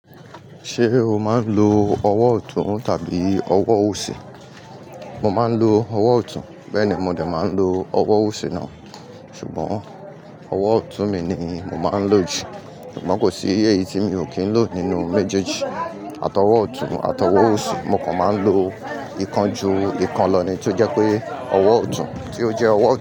Ṣé o máa ń lo ọwọ́ ọ̀tún tàbí ọwọ́ òsì? Mo máa ń lo ọwọ́ ọ̀tún, bẹ́ẹ̀ ni mo dà máa ń lo ọwọ́ òsì náà. Ṣùgbọ́n ọwọ́ ọ̀tún mi ni mo máa ń lò jù. Ṣùgbọ́n kò sí èyí tí mi ò kí ń lò nínú méjèèjì, àtọwọ́ ọ̀tún, àtọwọ́ òsì. Mo kàn máa ń lo ìkan ju ìkan lọ ni tó jẹ́ pé ọwọ́ ọ̀tún tí ó jẹ́ ọwọ́